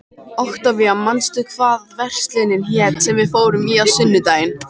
Októvía, manstu hvað verslunin hét sem við fórum í á sunnudaginn?